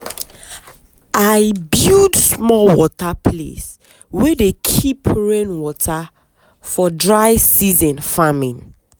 i build small water place wey dey keep rain water for dry season farming.